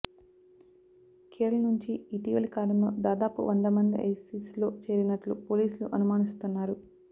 కేరళ నుంచి ఇటీవలి కాలంలో దాదాపు వందమంది ఐసిస్లో చేరినట్లు పోలీసులు అనుమానిస్తున్నారు